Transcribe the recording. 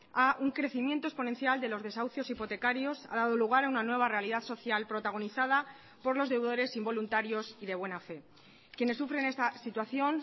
a un crecimiento exponencial de los desahucios hipotecarios ha dado lugar a una nueva realidad social protagonizada por los deudores involuntarios y de buena fe quienes sufren esta situación